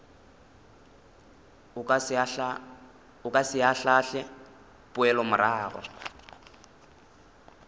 o ka se ahlaahle poelomorago